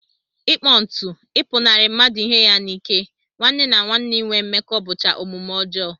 Ịkpọ ntụ, ịpụnarị mmadụ ihe ya n'ike, nwanne na nwanne inwe mmekọ bụcha omume ọjọọ